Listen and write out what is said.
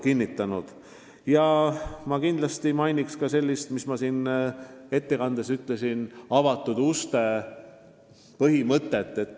Veel mainin ma meie avatud uste põhimõtet, millest ma oma ettekandes ka rääkisin.